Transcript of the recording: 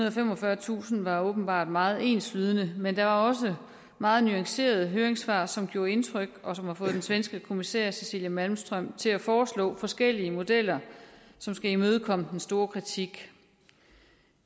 og femogfyrretusind var åbenbart meget enslydende men der var også meget nuancerede høringssvar som gjorde indtryk og som har fået den svenske kommissær cecilia malmström til at foreslå forskellige modeller som skal imødekomme den store kritik